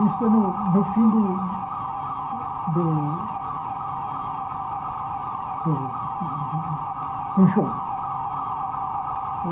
Isso no fim do do do do do jogo.